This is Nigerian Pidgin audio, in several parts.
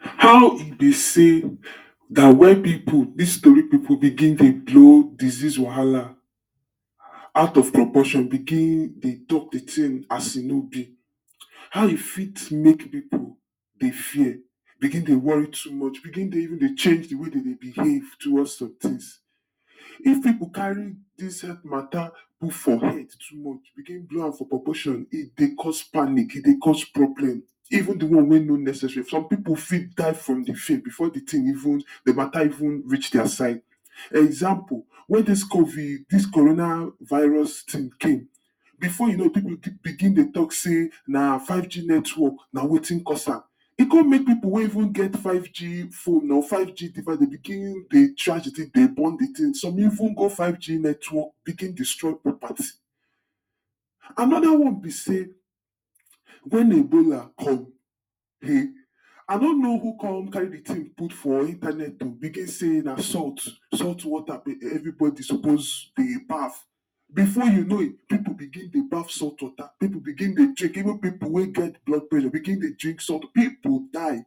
How e bi say dat wen pipo dis tori begin dey blow dizeaze wahala out of proportion begin dey tok di tin as e no be how e fit make pipo dey fear begin dey wori too much begin dey even dey change di way dem dey behave towards sometins if pipo carry dis healt matta put for head too much begin blow for proportion e dey cause panic, e dey cause problem even di one wey no necessary some pipo fit die from di fear bifor di tin even di matta even reach dia side example wey dis covid dis corona virus tin came bifor you know pipo begin dey tok say na 5g network na wetin cause am e come make pipo wey even get 5g phone or 5g device dey begin dey try to take, dey burn di tin some even go 5g network begin destroy property. Anoda one be say, wen Ebola come heh! I no know who come carry di tin put for intanet o begin say na salt salt water evri body supposed dey baff bifor you know pipo begin baff salt water pipo begin dey drink even pipo wey get get blood pressure begin dey drink some pipo die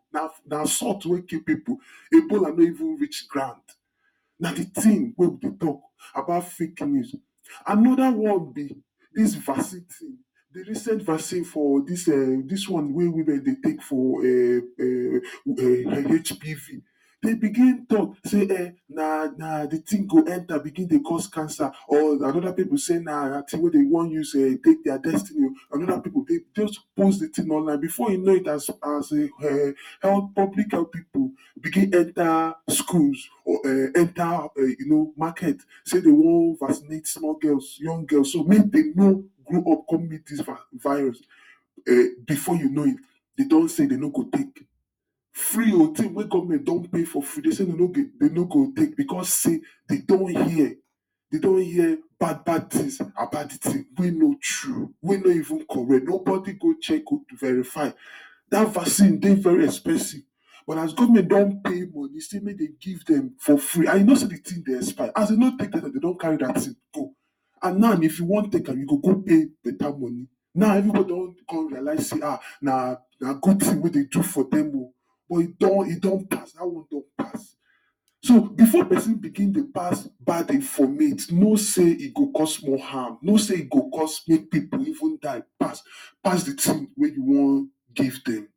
na salt wey kill pipo di ebola no even reach ground. Na di tin wey we dey tok about fake news. Anoda one be dis vaccine ting recent vaccine for dis, dis one wey women dey take for HBV dey begin tok say em na na di tin go enta begin dey cause cancer or anoda pipo say na di tin wey dem wan use take dia destiny o anoda pipo say post di tin online bifor you know it as a enh! public health pipo begin enta schools or enta you know, market say dem wan vaccinate small girls young girls so dat make dem no grow up come meet dis virus bifor you know it dem don say dem no go take free o tin wey govment don pay for free dem say dem no go take bicos say dem don hear dem don hear, bad bad tins about di tin wey no true wey no even correct nobody go check google verify Dat vaccine dey very expensive but as govment don pay money say make dem give dem for free and you know say di tin dey expire as dem no gree take dem don carry dia tin go and now if you wan take am you go go pay betta money now evri body don con realise say ah na good tin wey dem do for dem o but e done don pass, dat one don pass So bifor pesin begin dey pass bad informate, know say e go cause more harm, know say e go cause make pipo even die pass pass di tin wey you wan give dem